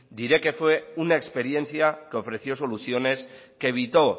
diré que fue una experiencia que ofreció soluciones que evitó